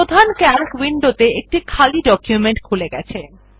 প্রধান সিএএলসি উইন্ডোতে একটি খালি ডকুমেন্ট খুলে গেছে